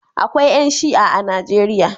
Akwai ƴan Shi'a a Najeriya.